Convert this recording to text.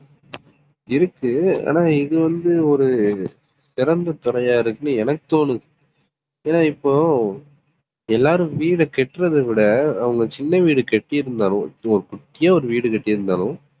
இருக்கு ஆனா இது வந்து ஒரு சிறந்த துறையா இருக்குன்னு எனக்கு தோணுது. ஏன்னா இப்போ எல்லாரும் வீடை கட்டுறதை விட அவங்க சின்ன வீடு கட்டி இருந்தாலும் ஒரு குட்டியா ஒரு வீடு கட்டி இருந்தாலும்